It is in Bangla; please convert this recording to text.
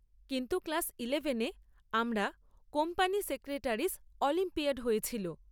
কিন্তু ক্লাস ইলেভেনে আমরা কোম্পানি সেক্রেটারিস অলিম্পিয়াড হয়েছিল।